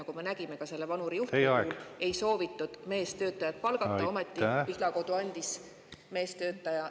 Nagu me nägime ka selle vanuri juhtumi puhul, kui ei soovitud meestöötajat palgata, ometi Pihlakodu andis meestöötaja …